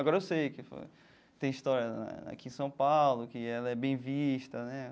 Agora eu sei que foi tem história aqui em São Paulo, que ela é bem vista, né?